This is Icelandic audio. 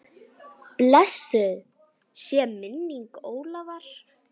Blessuð sé minning Ólafar.